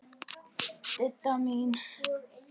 Didda mín.